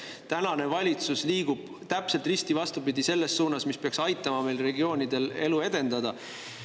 Tänane valitsus liigub täpselt risti vastupidi sellele suunale, mis peaks aitama regioonidel elu edendada.